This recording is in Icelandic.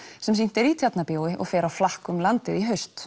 sem sýnt er í Tjarnarbíó og fer á flakk um landið í haust